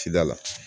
Cida la